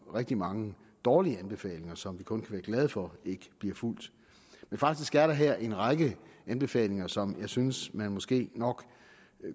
rigtig mange dårlige anbefalinger som vi kun være glade for ikke bliver fulgt men faktisk er der her en række anbefalinger som jeg synes man måske nok